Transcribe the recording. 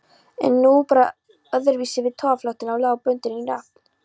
En nú brá öðruvísi við, togaraflotinn lá bundinn í höfn.